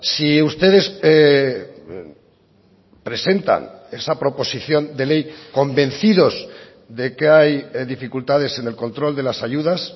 si ustedes presentan esa proposición de ley convencidos de que hay dificultades en el control de las ayudas